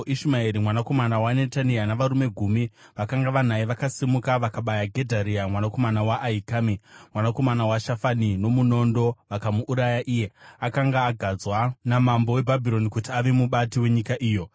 Ishumaeri mwanakomana waNetania navarume gumi vakanga vanaye vakasimuka vakabaya Gedharia mwanakomana waAhikami, mwanakomana waShafani, nomunondo, vakamuuraya iye akanga agadzwa namambo weBhabhironi kuti ave mubati wenyika iyo.